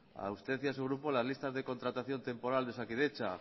a usted y a su grupo las listas de contratación temporal de osakidetza